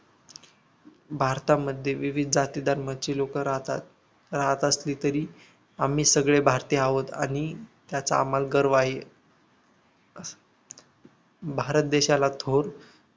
भारतामध्ये विविध जातीधर्माचे लोक राहतात राहत असले तरीही आम्ही सर्व भारतीय आहोत आणि त्याचा आम्हाला गर्व आहे भारत देशाला थोर